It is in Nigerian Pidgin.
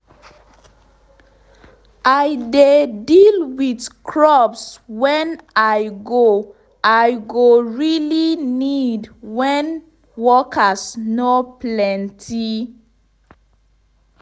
i dey deal with crops wen i go i go really need wen workers nor plenty